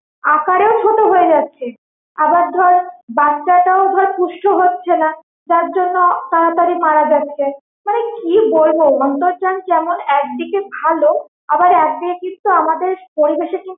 আকারেও ছোট হয়ে যাচ্ছে, আবার ধর বাচ্চাটাও ধর পুষ্ট হচ্ছে না, যার জন্য তাড়াতাড়ি মারা যাচ্ছে মানে কি বলবো অন্তর্জাল যেমন একদিকে ভালো আবার একদিকে কিন্তু আমাদের পরিবেশে কিন~